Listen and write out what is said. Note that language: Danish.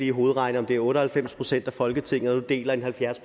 i hovedet om det er otte og halvfems procent af folketinget der deler et halvfjerds